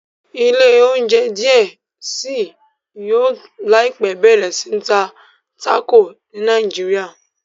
ilé ounjẹ diẹ sí yóò láìpé bẹrẹ sí ta Taco ni Naijiria.